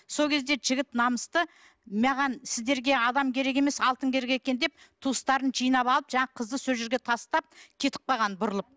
сол кезде жігіт намысты маған сіздерге адам керек емес алтын керек екен деп туыстарын жинап алып жаңағы қызды сол жерге тастап кетіп қалған бұрылып